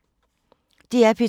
DR P2